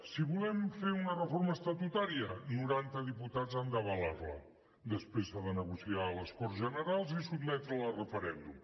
si volem fer una reforma estatutària noranta diputats han d’avalar la després s’ha de negociar a les corts generals i sotmetre la a referèndum